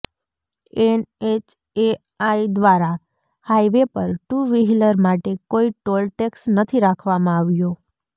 NHAI દ્વારા highway પર two wheeler માટે કોઈ ટોલ ટેક્સ નથી રાખવામાં આવ્યો